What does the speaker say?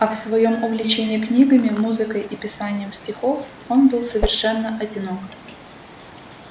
а в своём увлечении книгами музыкой и писанием стихов он был совершенно одинок